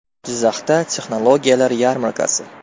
Jizzaxda texnologiyalar yarmarkasi.